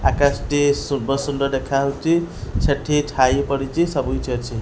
ଆକାଶ ଟି ସୁବ ସୁନ୍ଦର ଦେଖା ହୋଉଚି ସେଠି ଛାଇ ପଡ଼ିଚି ସବୁ କିଛି ଅଛି।